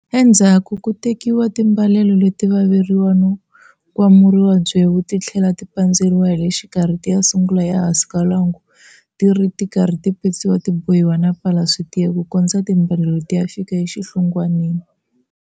Endzhaku ku tekiwa timbalelo leto vaveriwa no kwamuriwa byewu ti tlhela ti pandziwa hi le xikarhi ti ya sungula ehansi ka lwangu ti ri karhi ti petsiwa ti bohiwa na pala swi tiya ku kondza timbalelo ti ya fika exihlungwaneni.